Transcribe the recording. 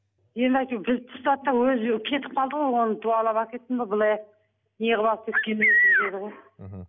енді әйтеуір бізді тастады да өзі кетіп қалды ғой оны дуалап алып кетті ме былай неғылып алып кеткенін мхм